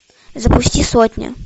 запусти сотня